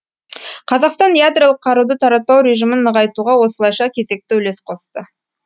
қазақстан ядролық қаруды таратпау режімін нығайтуға осылайша кезекті үлес қосты